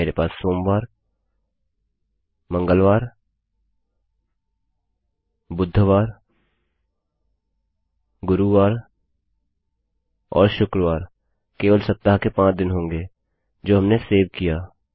मेरे पास मंडे सोमवार Tuesdayमंगलवार Wednesdayबुधवार Thursdayगुरूवार और फ्रिडे शुक्रवार केवल सप्ताह के 5 दिन होंगे जो हमें सेव करता है